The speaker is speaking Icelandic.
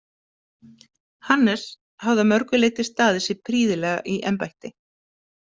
Hannes hafði að mörgu leyti staðið sig prýðilega í embætti.